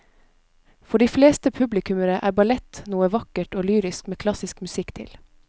For de fleste publikummere er ballett noe vakkert og lyrisk med klassisk musikk til.